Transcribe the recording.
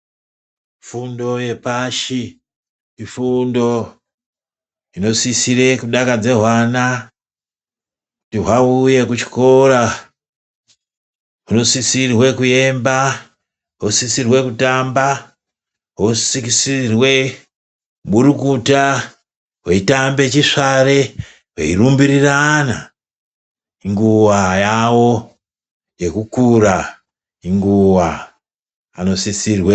Fundo hepashi ifundo inosisire kudakadza hwana kuti hwauye kuchikora hunosisirwe kuemba, hunosisirwe kutamba hosisirwe kuburukuta hweitambe chisvare hweirumbirirana inguva yavo yekukura inguva vanosisirwe.